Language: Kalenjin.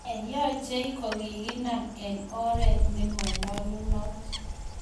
Ne yachei kokikinam eng oreet ne monyolunot